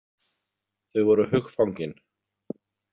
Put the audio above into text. Þau voru hugfangin.